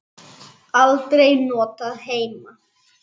Aldrei notað heima.